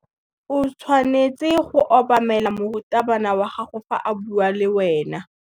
O tshwanetse go obamela morutabana wa gago fa a bua le wena.